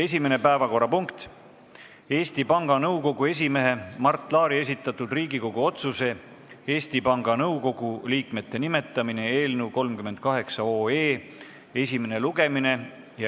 Esimene päevakorrapunkt on Eesti Panga Nõukogu esimehe Mart Laari esitatud Riigikogu otsuse "Eesti Panga Nõukogu liikmete nimetamine" eelnõu 38 esimene lugemine.